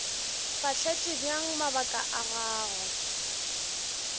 fahletše bjang mabaka a gagwe